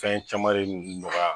Fɛn caman ne nɔgɔya